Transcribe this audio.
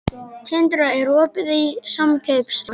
Tindra, er opið í Samkaup Strax?